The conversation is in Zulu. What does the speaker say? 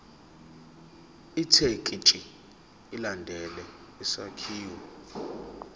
ithekisthi ilandele isakhiwo